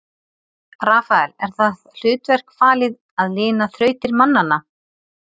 Rafael er það hlutverk falið að lina þrautir mannanna.